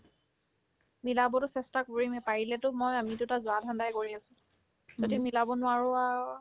মিলাবতো চেষ্টা কৰিমে পাৰিলেতো মই আমি দুটা যোৱাৰ ধান্দাই কৰি আছো যদি মিলাব নোৱাৰো আৰু